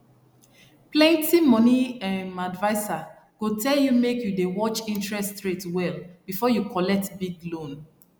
plenty money um adviser go tell you make you dey watch interest rate well before you collect big loan